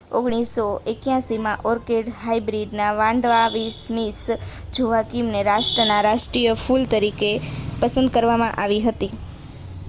1981માં orchid hybrid Vanda Miss જોઆકિમને રાષ્ટ્રનાં રાષ્ટ્રીય ફૂલ તરીકે પસંદ કરવામાં આવી હતી